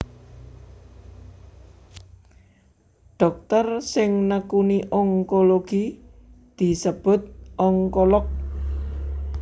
Dhokter sing nekuni onkologi disebut onkolog